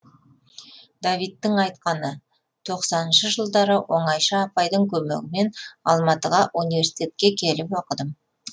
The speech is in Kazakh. давидтің айтқаны тоқсаныншы жылдары оңайша апайдың көмегімен алматыға университетке келіп оқыдым